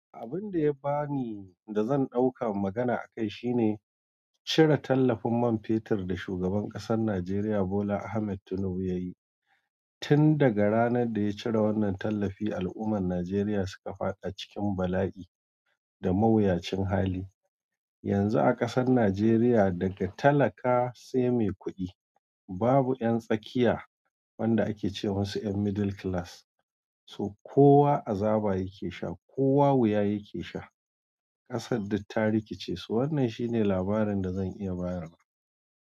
Abun da ya bani da zan ɗauka magana akai shine cire tallafin man fetur da shugaban ƙasar Najeriya Bola Ahmed Tinubu ya yi. Tun daga ranar da ya cire wannan tallafi, al’ummar Najeriya suka fada cikin bala’i da mawuyacin hali. Yanzu a ƙasar Najeriya, daga talaka sai mai kuɗi, babu yan tsakiya wanda ake ce musu yan middle class, so kowa azaba yake sha, kowa wuya yake sha. Ƙasar duk ta rikice. Wannan shine labarin da zan iya bayarwa.